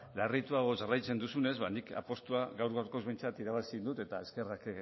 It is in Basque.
larrituago jarraitzen duzunez ba nik apustua gaur gaurkoz behintzat irabazi dut eta eskerrak